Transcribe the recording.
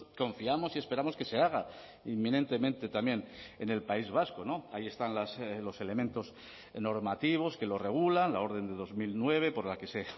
confiamos y esperamos que se haga inminentemente también en el país vasco ahí están los elementos normativos que lo regulan la orden de dos mil nueve por la que se